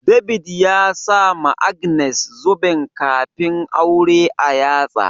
David ya sama Agnes zuben kafin aure a yatsa.